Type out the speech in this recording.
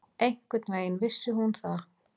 Einhvern veginn vissi hún það.